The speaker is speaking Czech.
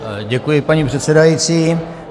Děkuji, paní předsedající.